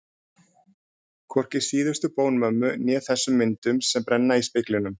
Hvorki síðustu bón mömmu né þessum myndum sem brenna í speglinum.